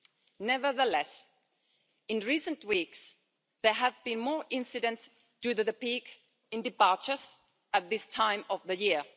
However, in recent weeks, there have been more incidents due to the peak in departures at this time of the year.